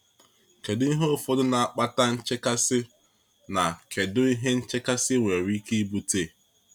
Kedu ihe ụfọdụ na-akpata nchekasị, na kedu ihe nchekasị nwere ike ibute?